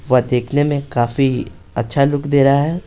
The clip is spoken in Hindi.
वह देखने में काफी अच्छा लुक दे रहा है।